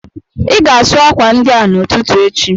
Ị ga-asụ akwa ndị a n'ụtụtụ echi!